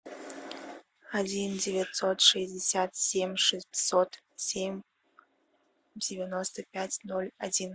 один девятьсот шестьдесят семь шестьсот семь девяносто пять ноль один